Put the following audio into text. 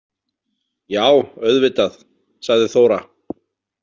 Já, auðvitað, sagði Þóra.